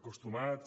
acostumats